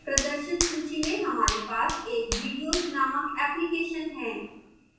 प्रदर्शित सूची में हमारे पास एक videos named application है